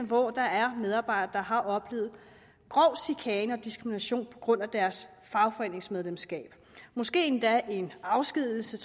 hvor der er medarbejdere der har oplevet grov chikane og diskrimination på grund af deres fagforeningsmedlemskab måske endda en afskedigelse